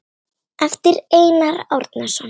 eftir Einar Árnason